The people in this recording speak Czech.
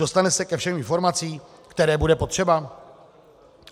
Dostane se ke všem informacím, které bude potřebovat?